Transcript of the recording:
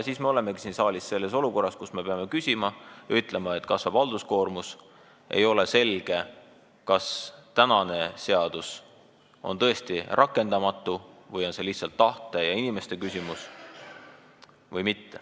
Nii me olemegi siin saalis selles olukorras, kus me peame ütlema, et halduskoormus kasvab, kuid ei ole selge, kas tänane seadus on tõesti rakendamatu või on see lihtsalt tahte ja inimeste küsimus.